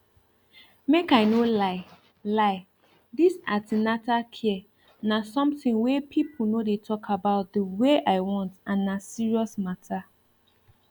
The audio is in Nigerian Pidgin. make i no lie lie this an ten atal care na something wey people no dey talk about the way i want and na serious matter